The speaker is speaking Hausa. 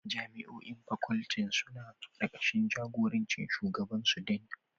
Jami'o'i facultin suna karkashin jagorancin shugabansu Dean